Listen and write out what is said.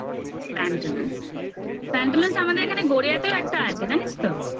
pantaloons আমাদের এখানে গড়িয়াতেও একটা আছে জানিস তো